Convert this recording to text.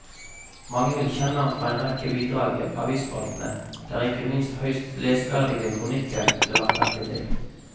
Mange vil kjenne ham fra en rekke bidrag i avisspaltene, der ikke minst høyst leseverdige kronikker ble lagt merke til.